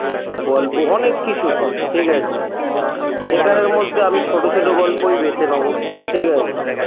গল্প অনেক কিছু হয় ঠিকাছে এখানের মধ্যে আমি ছোট ছোট গল্পই বেছে নেবো ঠিকাছে